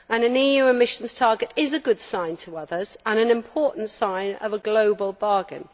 An EU emissions target is a good sign to others and an important sign of a global bargain.